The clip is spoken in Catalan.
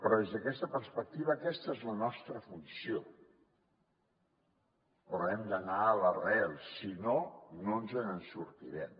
des d’aquesta perspectiva aquesta és la nostra funció però hem d’anar a l’arrel si no no ens en sortirem